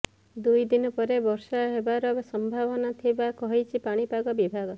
ଦୁଇ ଦିନ ପରେ ବର୍ଷା ହେବାର ସମ୍ଭାବନା ଥିବା କହିଛି ପାଣିପାଗ ବିଭାଗ